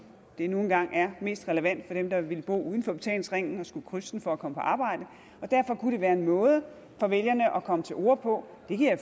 det nu engang er mest relevant for dem der vil bo uden for betalingsringen og som skal krydse den for at komme på arbejde og derfor kunne det være en måde for vælgerne at komme til orde på det kan jeg